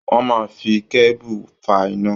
Wọ́n máa ń fi kébù fa iná.